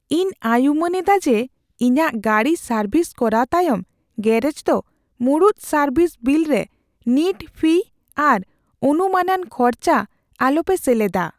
ᱤᱧ ᱟᱭᱩᱢᱟᱹᱱ ᱮᱫᱟ ᱡᱮ, ᱤᱧᱟᱹᱜ ᱜᱟᱹᱰᱤ ᱥᱟᱨᱵᱷᱤᱥ ᱠᱚᱨᱟᱣ ᱛᱟᱭᱚᱢ ᱜᱮᱨᱮᱡ ᱫᱚ ᱢᱩᱲᱩᱫ ᱥᱟᱨᱵᱷᱤᱥ ᱵᱤᱞ ᱨᱮ ᱱᱤᱴ ᱯᱷᱤᱭ ᱟᱨ ᱚᱱᱩᱢᱟᱹᱱᱟᱱ ᱠᱷᱚᱨᱪᱟ ᱟᱞᱚᱯᱮ ᱥᱮᱞᱮᱫᱟ ᱾